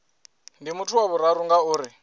ndi muthu wa vhuraru ngauri